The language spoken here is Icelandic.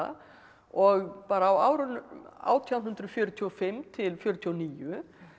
og bara á árunum átján hundruð fjörutíu og fimm til fjörutíu og níu